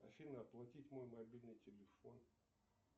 афина оплатить мой мобильный телефон